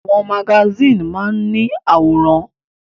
Àwọn magasíìnì máa ń ní àwòrán.